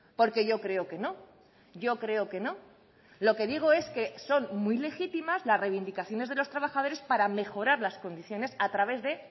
porque yo creo que no yo creo que no lo que digo es que son muy legítimas las reivindicaciones de los trabajadores para mejorar las condiciones a través de